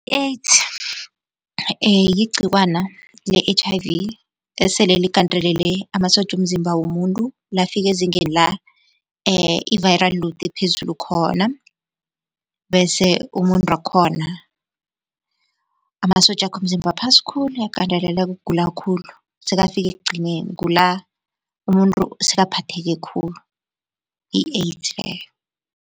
I-AIDS yigcikwana le-H_I_V esele ligandelele amasotja womzimba womuntu lafika ezingeni la, i-viral load ephezulu khona. Bese umuntu wakhona, amasotjakhe womzimba aphasi khulu uyagandeleleka ugula khulu, sekafike ekugcineni kula umuntu sekaphatheke khulu, yi-AIDS leyo.